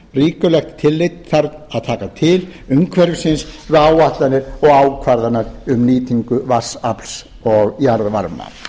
ríkulegt tillit þarf að taka til umhverfis við áætlanir og ákvarðanir um nýtingu vatnsafls og jarðvarma